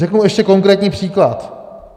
Řeknu ještě konkrétní příklad.